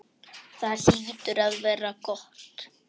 Það hlýtur að vera gott.